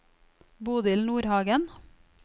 Bodil Nordhagen